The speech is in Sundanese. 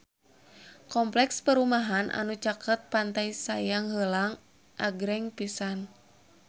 Kompleks perumahan anu caket Pantai Sayang Heulang agreng pisan